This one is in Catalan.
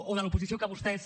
o de l’oposició que vostès